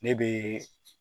Ne bɛ